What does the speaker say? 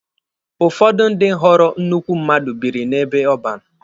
Ụfọdụ ndị ghọrọ nnukwu mmadụ biri n'ebe ọban.